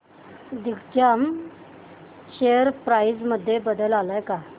Digjam share price मध्ये बदल आलाय का